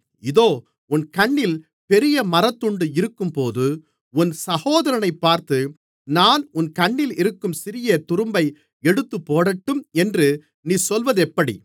இதோ உன் கண்ணில் பெரிய மரத்துண்டு இருக்கும்போது உன் சகோதரனைப் பார்த்து நான் உன் கண்ணிலிருக்கும் சிறிய துரும்பை எடுத்துப்போடட்டும் என்று நீ சொல்வதெப்படி